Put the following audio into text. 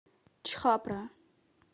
чхапра